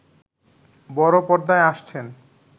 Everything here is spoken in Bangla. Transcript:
বড় পর্দায় আসছেন